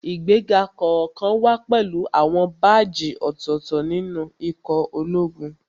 Ìgbéga kọ̀ọ̀kan wá pẹ̀lú àwọn báàjì ọ̀tọ̀ọ̀tọ̀ nínú ikọ̀ ológun